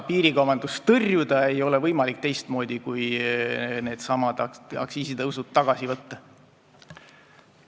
Piirikaubandust tõrjuda ei ole võimalik teistmoodi kui nendesamade aktsiisitõusude tagasivõtmisega.